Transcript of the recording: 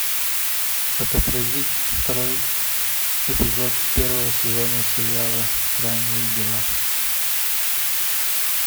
отобразить второй эпизод первого сезона сериала странные дела